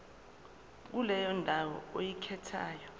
kuleyo ndawo oyikhethayo